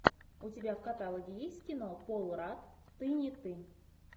у тебя в каталоге есть кино пол радд ты не ты